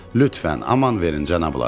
Lütfən, aman verin cənablar.